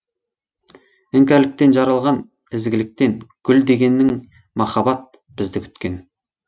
іңкәрліктен жаралған ізгіліктен гүл дегенің махаббат бізді күткен